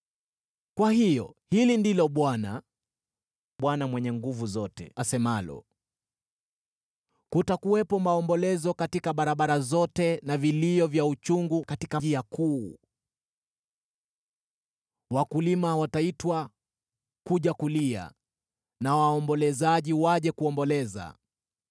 Kwa hiyo hili ndilo Bwana, Bwana Mungu Mwenye Nguvu Zote, asemalo: “Kutakuwepo maombolezo katika barabara zote na vilio vya uchungu katika njia kuu zote. Wakulima wataitwa kuja kulia, na waombolezaji waje kuomboleza.